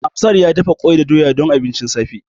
Amsar ya dafa ƙwai da doya don abincin safe.